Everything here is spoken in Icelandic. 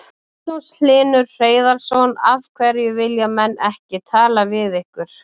Magnús Hlynur Hreiðarsson: Af hverju vilja menn ekki tala við ykkur?